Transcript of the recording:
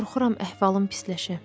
Qorxuram əhvalım pisləşə.